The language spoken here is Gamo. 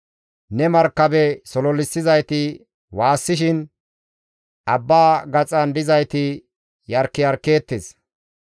Ne markabe sololissizayti waassishin, abba gaxan dizayti yarkiyarkeettes.